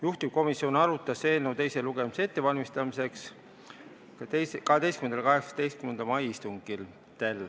Juhtivkomisjon arutas eelnõu teise lugemise ettevalmistamiseks 12. ja 18. mai istungil.